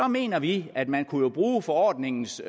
mener vi at man jo kunne bruge forordningens